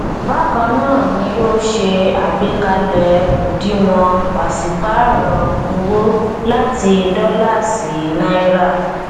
bákan náà ní ó ṣe àgbékalẹ òdiwọn pàsípárò owó láti dóòlà sí náírà